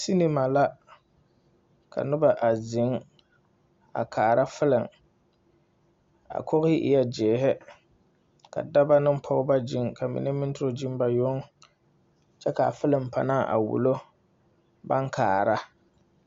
Sinima la ka noba a ziŋ kaara filim a kogre eɛ zēēre ka dɔba ne pɔgeba gyiŋ ka ba mine gyiŋ ba yoŋ kyɛ kaa filim panaa a wulo baŋ kaara.